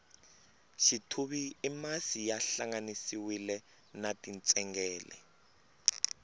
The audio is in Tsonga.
xithuvi i masi ya hlanganisiwile na tintsengele